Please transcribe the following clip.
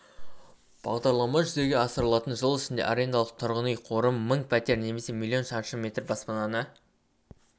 бағдарлама жүзеге асырылатын жыл ішінде арендалық тұрғын үй қоры мың пәтер немесе млн шаршы метр баспананы